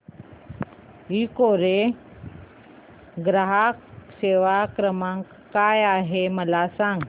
Ecoreco चा ग्राहक सेवा क्रमांक काय आहे मला सांग